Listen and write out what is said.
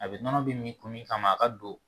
A bi nɔnɔ bi min kun min kama a ka don